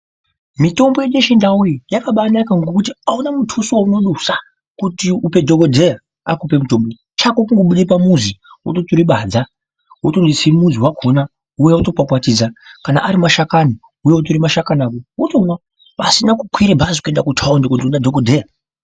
Mitombo yedu yechiNdau iyi yakabaanaka ngokuti hauna mutuso weunodusa kuti upe dhogodheya akupe mutombo. Chako kungobude pamuzi, wototore badza wotonotse mudzi wakona wouya wotokwakwadidza. Kana ari mashakani, wouya wotore mashakani ako, wotomwa. pasina kukwire bhazi kuenda kutaundi kundoona dhogodheya.